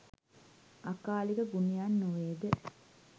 අකාලික ගුණයන් නො වේද?